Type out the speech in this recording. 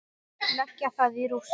Leggja það í rúst!